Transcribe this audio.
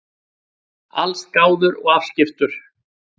Allsgáður og afskiptur.